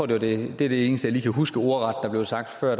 det er det eneste jeg lige kan huske ordret blev sagt før